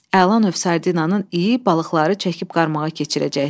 Əla növ sardinanın iyi balıqları çəkib qarmağa keçirəcəkdi.